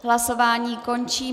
Hlasování končím.